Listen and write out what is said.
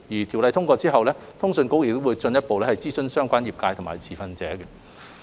《條例草案》通過後，通訊局會進一步諮詢相關業界和持份者。